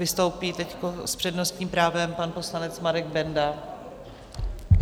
Vystoupí teď s přednostním právem pan poslanec Marek Benda.